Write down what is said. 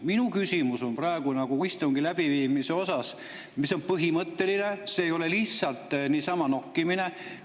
Minu küsimus on praegu istungi läbiviimise kohta, ja see on põhimõtteline, see ei ole lihtsalt niisama nokkimine.